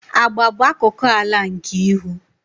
Agba bụ akụkụ ala nke ihu.